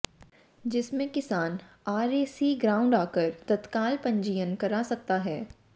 जिसमें किसान RAC ground आकर तत्काल पंजीयन करा सकता है